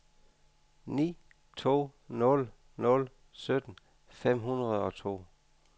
ni to nul nul sytten fem hundrede og to